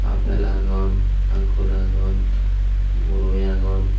apple agon ankur agon boroi agon.